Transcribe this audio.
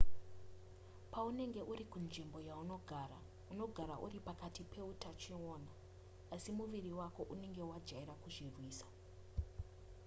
paunenge uri kunzvimbo yaunogara unogara uri pakati peutachiona asi muviri wako unenge wajaira kuzvirwisa